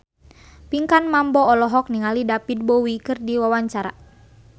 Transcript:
Pinkan Mambo olohok ningali David Bowie keur diwawancara